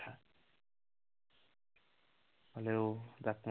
হলেও